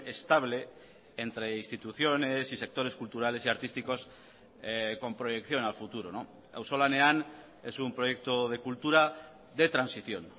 estable entre instituciones y sectores culturales y artísticos con proyección al futuro auzolanean es un proyecto de cultura de transición